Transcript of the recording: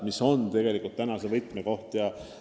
Mis on tegelikult praegu võtmekoht?